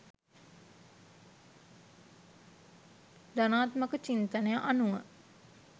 ධනාත්මක චින්තනය අනුව